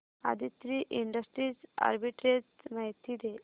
Aditri industries arbitrage माहिती दे